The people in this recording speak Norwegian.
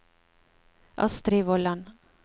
Astri Vollan